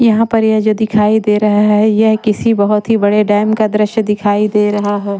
यहाँ पर ये जो दिखाई दे रहा है यह किसी बहुत ही बड़े डैम का दृश्य दिखाई दे रहा है।